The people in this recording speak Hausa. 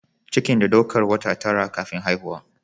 Cikin da daukar wata tara (9) kafin haihuwa.